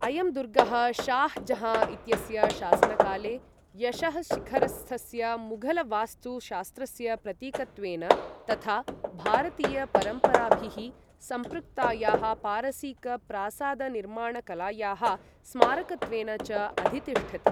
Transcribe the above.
अयं दुर्गः शाह् जहाँ इत्यस्य शासनकाले यशःशिखरस्थस्य मुग़लवास्तुशास्त्रस्य प्रतीकत्वेनतथा भारतीयपरम्पराभिः संपृक्तायाः पारसीक प्रासाद निर्माणकलायाः स्मारकत्वेन च अधितिष्ठति।